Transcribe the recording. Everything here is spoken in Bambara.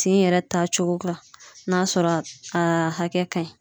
Tin yɛrɛ ta cogo la n'a sɔrɔ a hakɛ ka ɲi